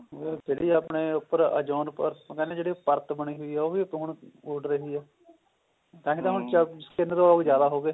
ਉਹ ਜਿਹੜੀ ਆਪਣੇ ਉੱਪਰ ozone ਪਰਤ ਉਹ ਕਹਿੰਦੇ ਨੇ ਜਿਹੜੀ ਪਰਤ ਬਣੀ ਹੋਈ ਹੈ ਉਹ ਵੀ ਪੋਣ ਓਡ ਰਹੀ ਹੈ ਤਾਹੀਂ ਤਾਂ ਹੁਣ ਚੋਵੀ ਸਕਿੰਟ ਤੋਂ ਜਿਆਦਾ ਹੋ ਗਏ